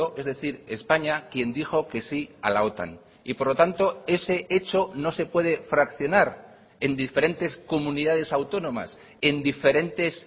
es decir españa quien dijo que sí a la otan y por lo tanto ese hecho no se puede fraccionar en diferentes comunidades autónomas en diferentes